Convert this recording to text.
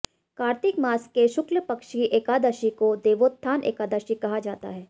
कार्तिक मास के शुक्लपक्ष की एकादशी को देवोत्थान एकादशी कहा जाता है